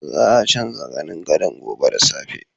Za a canza zanin gadon gobe da safe.